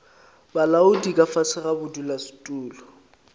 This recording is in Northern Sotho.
bolaodi ka fase ga bodulasetulo